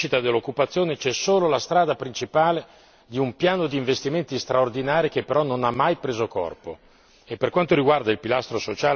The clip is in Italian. Per quanto concerne la crescita dell'occupazione c'è solo la strada principale di un piano di investimenti straordinari che però non ha mai preso corpo.